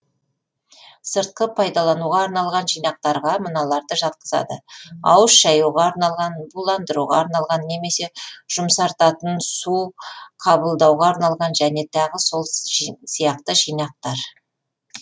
сыртқы пайдалануға арналған жинақтарға мыналарды жатқызады ауыз шаюға арналған буландыруға арналған немесе жұмсартатын су қабылдауға арналған және тағы сол сияқты жинақтар